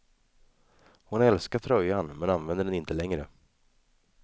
Hon älskar tröjan, men använder den inte längre.